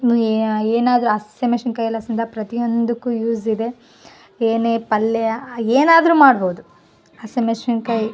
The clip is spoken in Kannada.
ಏನಾದ್ರು ಹಸಿಮೆಸಿನಕಾಯಿ ಪ್ರತಿಯೊಂದಕ್ಕೂ ಯೂಸ್ ಇದೆ ಏನೆ ಪಲ್ಯ ಏನಾದ್ರು ಮಾಡಬಹುದು ಹೇಸಿಮೆಸಿನಕಾಯಿ --